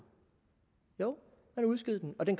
jo man udskød den og det